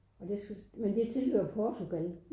Og det så det tilhører Portugal